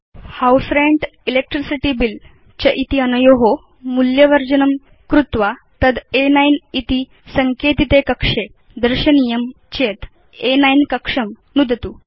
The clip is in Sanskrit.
यदि वयं हाउस रेन्ट् इलेक्ट्रिसिटी बिल च इति अनयो मूल्यवर्जनं कर्तुम् अपि च तद् अ9 इति सङ्केतिते कक्षे दर्शयितुम् इच्छाम तर्हि प्रथमं अ9 कक्षं नुदतु